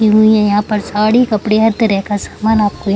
टंगी हुई है यहाँ पर साड़ी-कपड़े हर तरह का सामान आपको य --